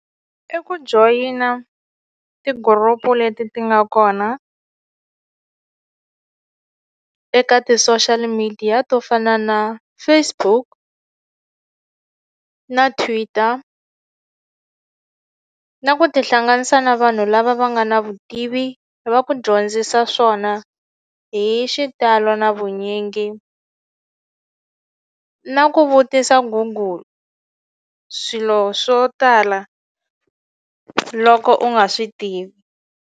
I ku joyina ti-group leti ti nga kona eka ti-social media to fana na Facebook na Twitter na ku tihlanganisa na vanhu lava va nga na vutivi va ku dyondzisa swona hi xitalo na vunyingi na ku vutisa Google swilo swo tala loko u nga swi tivi.